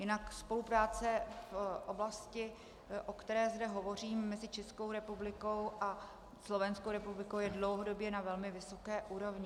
Jinak spolupráce v oblasti, o které zde hovořím, mezi Českou republikou a Slovenskou republikou je dlouhodobě na velmi vysoké úrovni.